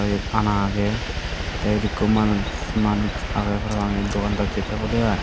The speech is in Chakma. iyut ana agey te iyut ekku manuj agey parapang iyut dugandacchi tebode ai.